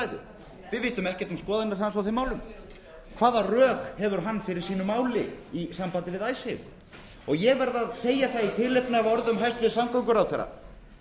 við vitum ekkert um skoðanir hans á þeim málum hvaða rök hefur hann fyrir sínu máli í sambandi við icesave og ég verð að segja það í tilefni af orðum hæstvirts samgönguráðherra